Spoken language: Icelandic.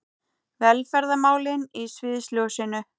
Velferðarmálin í sviðsljósinu